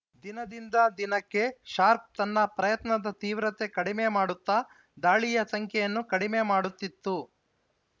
ದಿನದಿಂದ ದಿನಕ್ಕೆ ಶಾರ್ಕ್ ತನ್ನ ಪ್ರಯತ್ನದ ತೀವ್ರತೆ ಕಡಿಮೆ ಮಾಡುತ್ತಾ ದಾಳಿಯ ಸಂಖ್ಯೆಯನ್ನೂ ಕಡಿಮೆ ಮಾಡುತ್ತಿತ್ತು